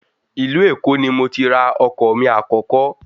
Ìlú Èkó ni mo ti ra ọkọ̀ mi àkọ́kọ́